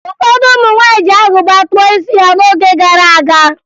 Ụfọdụ ụmụ nwaanyị ji agụba kpụọ isi ha n'oge gara aga